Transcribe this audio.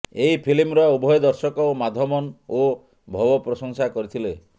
ଏହି ଫିଲ୍ମର ଉଭୟ ଦର୍ଶକ ଓ ମାଧବନ୍ ଓ ଭବ ପ୍ରଶଂସା କରିଥିଲେ